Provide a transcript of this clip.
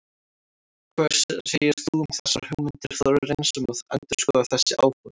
Hvað segir þú um þessar hugmyndir Þórarins um að endurskoða þessi áform?